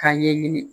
K'a ɲɛɲini